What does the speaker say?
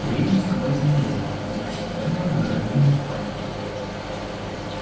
из передней ступайте налево идите все прямо до графининой спальни